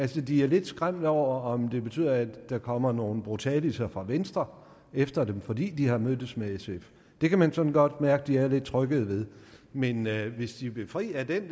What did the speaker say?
de er lidt skræmt over om det betyder at der kommer nogle brutaliser fra venstre efter dem fordi de har mødtes med sf det kan man sådan godt mærke at de er lidt trykkede ved men hvis de vil fri af den